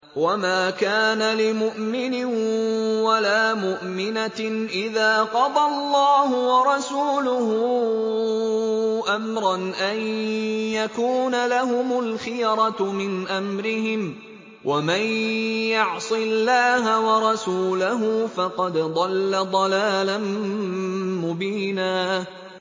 وَمَا كَانَ لِمُؤْمِنٍ وَلَا مُؤْمِنَةٍ إِذَا قَضَى اللَّهُ وَرَسُولُهُ أَمْرًا أَن يَكُونَ لَهُمُ الْخِيَرَةُ مِنْ أَمْرِهِمْ ۗ وَمَن يَعْصِ اللَّهَ وَرَسُولَهُ فَقَدْ ضَلَّ ضَلَالًا مُّبِينًا